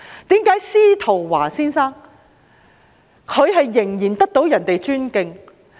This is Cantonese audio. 為何司徒華先生仍然備受尊敬？